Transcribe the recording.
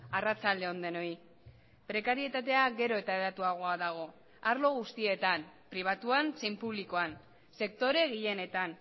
arratsalde on denoi prekarietatea gero eta hedatuagoa dago arlo guztietan pribatuan zein publikoan sektore gehienetan